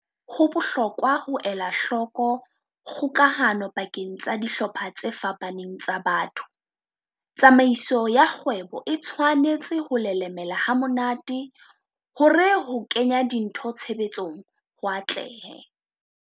Ho bohlokwa ho ela hloko kgokahano pakeng tsa dihlopha tse fapaneng tsa batho. Tsamaiso ya kgwebo e tshwwanetse ho lelemela ha monate hore ho kenya dintho tshebetsong ho atlehe.